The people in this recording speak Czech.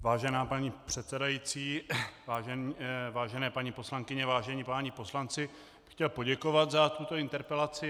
Vážená paní předsedající, vážené paní poslankyně, vážení páni poslanci, chtěl bych poděkovat za tuto interpelaci.